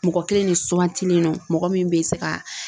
Mɔgɔ kelen de sugantilen don mɔgɔ min bɛ se ka